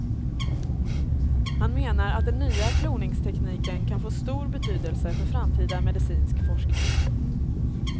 Han menar att den nya kloningstekniken kan få stor betydelse för framtida medicinsk forskning.